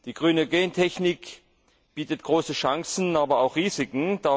Die grüne Gentechnik bietet große Chancen, aber auch Risiken.